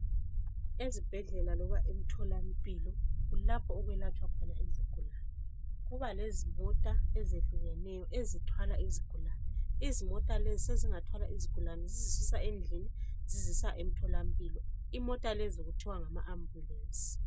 Ezibhedlela loba entolamphi kulapho okulatshwa khona izigulane. Kulezimota ezitshiyeneyo ezithwala izigulane. Izimota lezi sezingathwala izigulane zizisusa endlini zizisa entolamphilo. Imota lezi kuthiwa ngama ambulenzi.